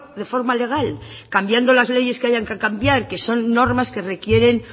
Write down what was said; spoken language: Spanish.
de forma legal cambiando las leyes que haya que cambiar que son normas que requieren